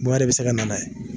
Mun yɛrɛ be se na n'a ye